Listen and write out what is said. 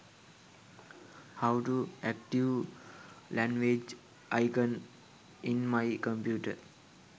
how to active language icon in my computer